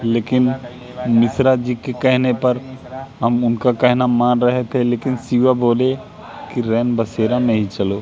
लेकिन मिश्रा जी के कहने पर हम उनका कहना मान रहे थे लेकिन सी_ओ बोले रेनबसेरा में ही चलो--